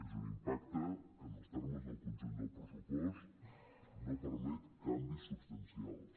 és un impacte que en els termes del conjunt del pressupost no permet canvis substancials